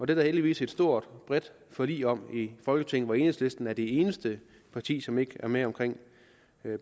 der heldigvis et stort bredt forlig om i folketinget hvor enhedslisten er det eneste parti som ikke er med omkring